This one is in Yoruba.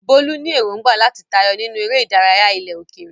Bolu ní èrògbà láti tayọ nínú eré ìdárayá ilẹ̀ òkèèrè.